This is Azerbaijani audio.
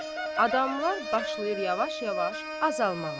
Adamlar başlayır yavaş-yavaş azalmağa.